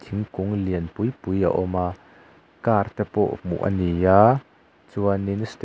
thingkung lianpui pui a awm a car te pawh hmuh a ni a chuanin step --